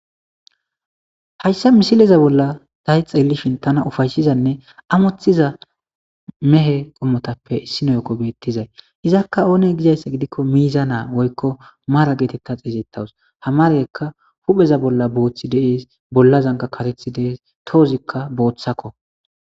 Hayssa misileza bolla day xeelishin tana ufayshizanne amothiza mehe qommotappe sinoyokko beettizay izakka oone gizayssa gidikko miiza naa woykko maara geetetta xeeyettawus hamaraykka hupheza bolla booththi dees bolla zanga katethi dees toozikka booththakko.